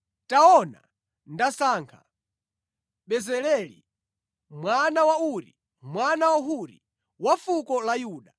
“Taona, ndasankha Bezaleli mwana wa Uri, mwana wa Huri, wa fuko la Yuda.